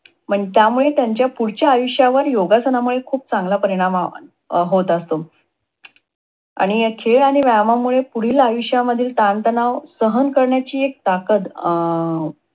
म्हणजे त्यामुळे त्यांच्या पुढच्या आयुष्यावर योगासनामुळे खूप चांगला परिणाम अं होत असतो. आणि ह्या खेळ व्यायामामुळे पुढील आयुष्यामध्ये ताणताणाव सहन करण्याची एक ताकद अं